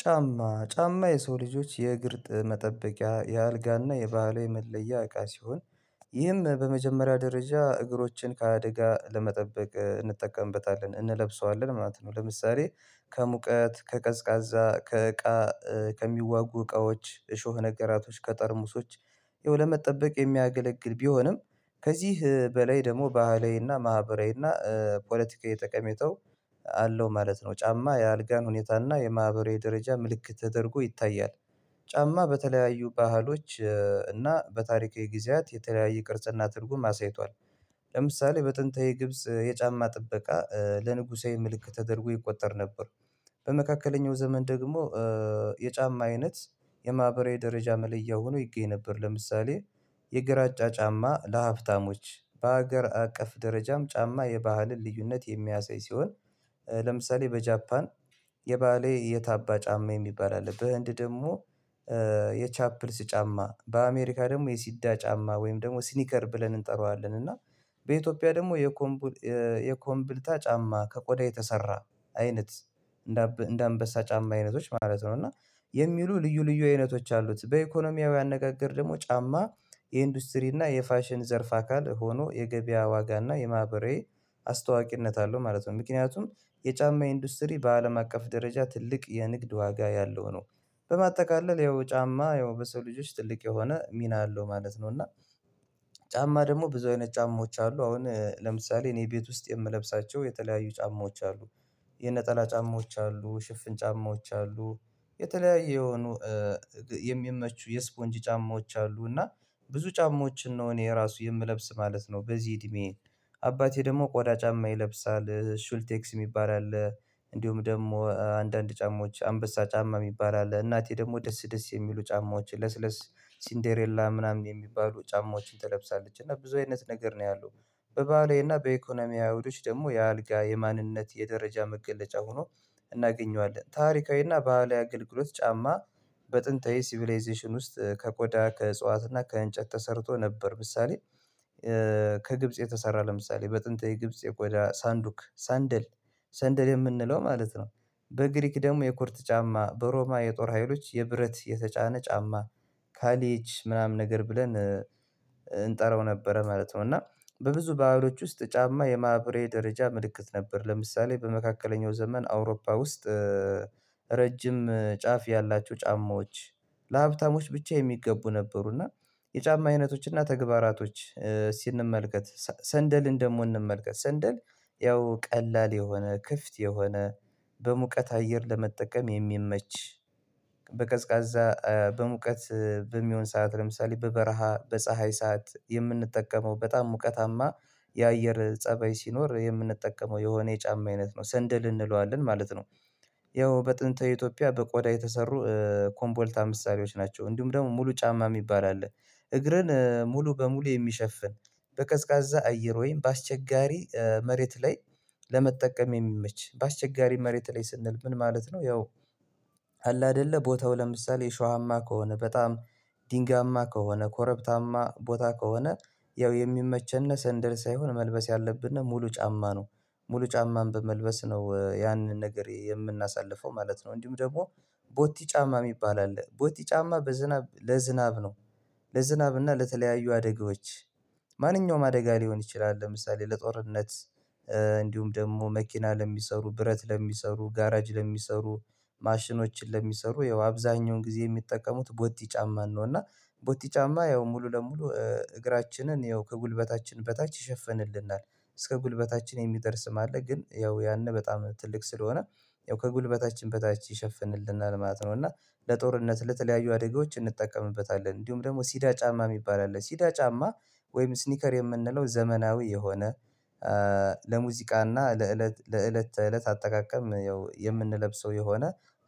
ጫማ ጫማ የሰው ልጆች የእግር መጠበቂያ የአልጋና የባህላዊ የመለያ እቃ ሲሆን ይህም በመጀመሪያ ደረጃ እግሮችን ከአደጋ ለመጠበቅ እንጠቀምበታለን እንለብሰዋለን ማለት ነው። ለምሳሌ ከሙቀት ከቀዝቃዛ ከእቃ ከሚዋጉ እቃዎች እሾህ ነገራቶች ከጠርሙሶች ይኸው ለመጠበቅ የሚያገለግል ቢሆንም ከዚህ በላይ ደግሞ ባህላዊና ማህበራዊና ፖለቲካዊ ጠቀሜታዊ አለው ማለት ነው። ጫማ የአልጋን ሁኔታና የማህበራዊ ደረጃ ምልክት ተደርጎ ይታያል። ጫማ በተለያዩ ባህሎች እና በታሪካዊ ጊዜያት የተለያየ ቅርጽና ትርጉም አሳይቷል። ለምሳሌ በጥንታዊ ግብጽ የጫማ ጥበቃ ለንጉሳዊ ምልክት ተደርጎ ይቆጠር ነበር። በመካከለኛው ዘመን ደግሞ የጫማ አይነት የማህበራዊ ደረጃ መለያ ሆኖ ይገኝ ነበር። ለምሳሌ የግራጫ ጫማ ለሀብታሞች በሀገር አቀፍ ደረጃም ጫማ የባህልን ልዩነት የሚያሳይ ሲሆን። ለምሳሌ በጃፓን የባሌ የታባ ጫማ የሚባል አለ በህንድ ደግሞ የቻፕልስ ጫማ በአሜሪካ ደግሞ የሲዳ ጫማ ወይም ደግሞ ስኒከር ብለን እንጠራዋለን። እና በኢትዮጵያ ደግሞ የኮምብል የኮምብልታ ጫማ ከቆዳ የተሰራ አይነት እንደ አንበሳ ጫማ አይነቶች ማለት ነው። እና የሚሉ ልዩ ልዩ አይነቶች አሉት በኢኮኖሚያዊ አነጋገር ደግሞ ጫማ የኢንዱስትሪ እና የፋሽን ዘርፍ አካል ሆኖ የገበያ ዋጋ እና የማህበራዊ አስተዋቂነት አለው ማለት ነው። ምክንያቱም የጫማ ኢንዱስትሪ በአለም አቀፍ ደረጃ ትልቅ የንግድ ዋጋ ያለው ነው። በማጠቃለል ያው ጫማ ያው በሰው ልጅ ውስጥ ትልቅ የሆነ ሚና አለው ማለት ነው። እና ጫማ ደግሞ ብዙ አይነት ጫማዎች አሉ አሁን ለምሳሌ እኔ ቤት ውስጥ የምለብሳቸው የተለያዩ ጫማዎች አሉ። የነጠላ ጫማዎች አሉ ሽፍን ጫማዎች አሉ የተለያየ የሆኑ የሚመቹ የስፖንጅ ጫማዎች አሉ። እና ብዙ ጫማዎችን ነው እኔ የራሱ የምለብስ ማለት ነው። በዚህ እድሜ አባቴ ደግሞ ቆዳ ጫማ ይለብሳል ሹልቴክስ የሚባል አለ። እንዲሁም ደግሞ አንዳንድ ጫማዎች አንበሳ ጫማ የሚባል አለ። እናቴ ደግሞ ደስ ደስ የሚሉ ጫማዎች ለስለስ ሲንዴሬላ ምናምን የሚባሉ ጫማዎችን ትለብሳለች እና ብዙ አይነት ነገር ነው ያለው። በባህላዊ እና በኢኮኖሚ አይሁዶች ደግሞ የአልጋ የማንነት የደረጃ መገለጫ ሆኖ እናገኘዋለን። ታሪካዊና ባህላዊ አገልግሎት ጫማ በጥንታዊ ሲቪላይዜሽን ውስጥ ከቆዳ ከእጽዋት እና ከእንጨት ተሰርቶ ነበር። ምሳሌ ከግብጽ የተሰራ ለምሳሌ በጥንት የግብጽ የቆዳ ሳንዱክ ሰንደል ሰንደል የምንለው ማለት ነው። በግሪክ ደግሞ የኮርት ጫማ በሮማ የጦር ሀይሎች የብረት የተጫነ ጫማ ካሊች ምናምን ነገር ብለን እንጠራው ነበረ ማለት ነው። እና በብዙ ባህሎች ውስጥ ጫማ የማህበራዊ ደረጃ ምልክት ነበር ለምሳሌ በመካከለኛው ዘመን አውሮፓ ውስጥ ረጅም ጫፍ ያላቸው ጫማዎች ለሀብታሞች ብቻ የሚገቡ ነበሩ። እና የጫማ አይነቶች እና ተግባራቶች ስንመልከት ሰንደልን ደግሞ እንመልከት ሰንደል ያው ቀላል የሆነ ክፍት የሆነ በሙቀት አየር ለመጠቀም የሚመች። በቀዝቃዛ በሙቀት በሚሆን ሰዓት ለምሳሌ በበረሃ በፀሀይ ሰዓት የምንጠቀመው በጣም ሙቀታማ የአየር ፀበይ ሲኖር የምንጠቀመው የሆነ የጫማ አይነት ነው ሰንደል እንለዋለን ማለት ነው። ያው በጥንተ ኢትዮጵያ በቆዳ የተሰሩ ኮምቦልታ ምሳሌዎች ናቸው እንዲሁም ደግሞ ሙሉ ጫማ የሚባል አለ። እግርን ሙሉ በሙሉ የሚሸፍን በቀዝቃዛ አየር ወይም በአስቸጋሪ መሬት ላይ ለመጠቀም የሚመች በአስቸጋሪ መሬት ላይ ስንል ምን ማለት ነው? ያው አለ አይደለ ቦታው ለምሳሌ እሾዋማ ከሆነ በጣም ድንጋያማ ከሆነ ኮረብታማ ቦታ ከሆነ ያው የሚመቸነስ ሰንደል ሳይሆን መልበስ ያለብንና ሙሉ ጫማ ነው። ሙሉ ጫማን በመልበስ ነው ያንን ነገር የምናሳልፈው ማለት ነው። እንዲሁም ደግሞ ቦቲ ጫማ የሚባል አለ ቦቲ ጫማ በዝናብ ለዝናብ ነው። ለዝናብ እና ለተለያዩ አደጋዎች ማንኛውም አደጋ ሊሆን ይችላል። ለምሳሌ ለጦርነት እንዲሁም ደግሞ መኪና ለሚሰሩ ብረት ለሚሰሩ ጋራጅ ለሚሰሩ ማሽኖችን ለሚሰሩ ያው አብዛኛውን ጊዜ የሚጠቀሙት ቦት ጫማን ነው። እና ቦት ጫማ ያው ሙሉ ለሙሉ እግራችንን ያው ከጉልበታችን በታች ይሸፍንልናል እስከ ጉልበታችን የሚደርስ ማለት ግን ያው ያን በጣም ትልቅ ስለሆነ ያው ከጉልበታችን በታች ይሸፍንልናል ማለት ነው። እና ለጦርነት ለተለያዩ አደጋዎች እንጠቀምበታለን። እንዲሁም ደግሞ ሲዳ ጫማ የሚባል አለ ሲዳ ጫማ ወይም ስኒከር የምንለው ዘመናዊ የሆነ ለሙዚቃና ለእለት ለእለት ተእለት አጠቃቀም የምንለብሰው የሆነ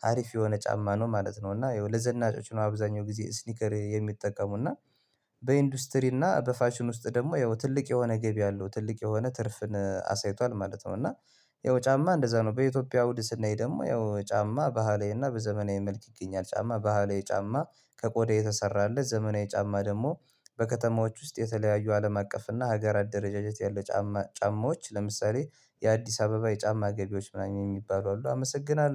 አሪፍ የሆነ ጫማ ነው ማለት ነው። እና ለዘናጮች ነው አብዛኛው ጊዜ ስኒከር የሚጠቀሙ እና በኢንዱስትሪ እና በፋሽን ውስጥ ደግሞ ያው ትልቅ የሆነ ገቢ አለው ትልቅ የሆነ ትርፍን አሳይቷል ማለት ነው። እና ያው ጫማ እንደዛ ነው በኢትዮጵያ አውድ ስናይ ደግሞ ያው ጫማ ባህለዊና በዘመናዊ መልክ ይገኛል። ጫማ ባህላዊ ጫማ ከቆዳ የተሰራለት ዘመናዊ ጫማ ደግሞ በከተማዎች ውስጥ የተለያዩ አለም አቀፍ እና ሀገራት ደረጃጀት ያለ ጫማ ጫማዎች ለምሳሌ የአዲስ አበባ የጫማ ገቢዎች ምናምን የሚባሉ አሉ። አመሰግናለሁ